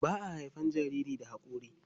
Ba a haifan jariri da hakori.